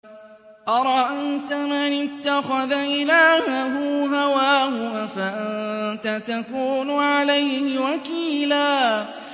أَرَأَيْتَ مَنِ اتَّخَذَ إِلَٰهَهُ هَوَاهُ أَفَأَنتَ تَكُونُ عَلَيْهِ وَكِيلًا